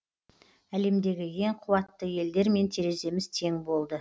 әлемдегі ең қуатты елдермен тереземіз тең болды